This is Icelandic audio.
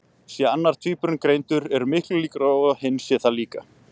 Sé annar tvíburinn greindur eru miklar líkur á að hinn sé það líka.